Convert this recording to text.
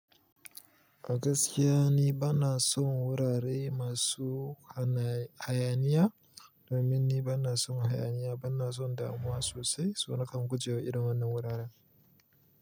A gaskiya ni bana son wurare masu hayaniya. Domin ni bana son hayaniya, bana son damuwa sosai. So na kan guje wa irin wannan wuraren.